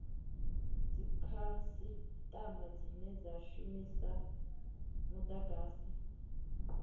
dzikhasitama dzine dza shumisa mudagasi